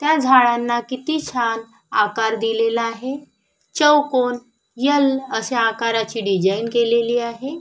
त्या झाडांना किती छान आकार दिलेला आहे चौकोन एल अश्या आकाराची डिझाईन केलेली आहे.